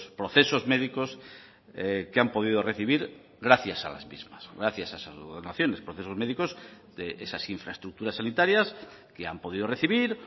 procesos médicos que han podido recibir gracias a las mismas gracias a esas donaciones procesos médicos de esas infraestructuras sanitarias que han podido recibir